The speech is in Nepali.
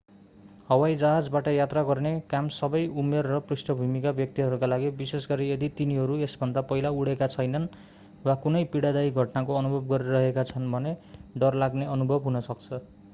हवाईजहाजबाट यात्रा गर्ने काम सबै उमेर र पृष्ठभूमिका व्यक्तिहरूका लागि विशेषगरी यदि तिनीहरू यसभन्दा पहिला उडेका छैनन् वा कुनै पीडादायी घटनाको अनुभव गरिरहेका छन् भने डरलाग्ने अनुभव हुन सक्छ